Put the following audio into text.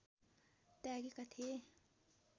त्यागेका थिए